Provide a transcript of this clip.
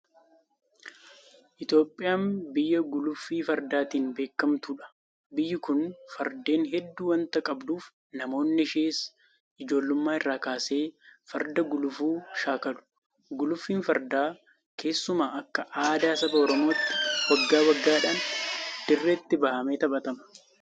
Itoophiyaan biyya guluffii fardaatiin beekamtudha. Biyyi kun fardeen hedduu waanta qabduuf namoonni ishees ijoollummaa irraa kaasee farda gulufuu shaakalu. Guluffiin Fardaa keessumaa akka aadaa saba Oromootti waggaa waggaadhaan dirreetti bahamee taphatama. Taphni Fardaa kunis Goojee jedhamee beekama.